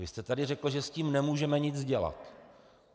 Vy jste tady řekl, že s tím nemůžeme nic dělat.